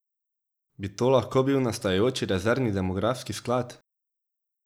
Bi to lahko bil nastajajoči rezervni demografski sklad?